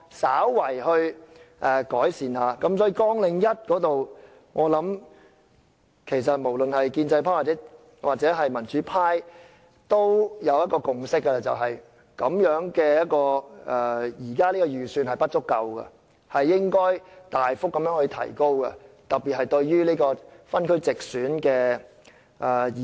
所以，在綱領1方面，我想不論是建制派或民主派均有共識，便是現時的預算開支是不足夠的，應該大幅提高，特別是對於地區直選的議員。